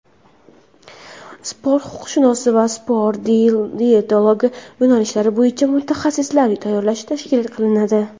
sport huquqshunosi va sport diyetologi yo‘nalishlari bo‘yicha mutaxassislar tayyorlash tashkil qilinadi.